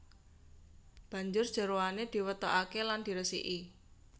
Banjur jeroane diwetokaké lan diresiki